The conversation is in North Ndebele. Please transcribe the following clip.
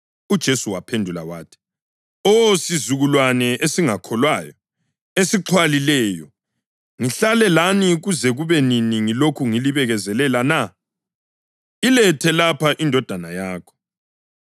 UJesu waphendula wathi, “Oh, sizukulwane esingakholwayo, esixhwalileyo, ngihlale lani kuze kube nini ngilokhu ngilibekezelela na? Ilethe lapha indodana yakho.”